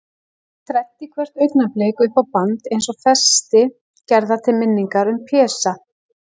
Þræddi hvert augnablik upp á band, eins og festi gerða til minningar um Pésa.